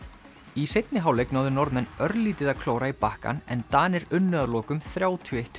í seinni hálfleik náðu Norðmenn örlítið að klóra í bakkann en Danir unnu að lokum þrjátíu og eitt